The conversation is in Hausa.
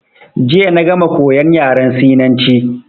Jiya na gama koyan yaran Sinanci.